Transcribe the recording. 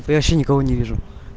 я вообще никого не вижу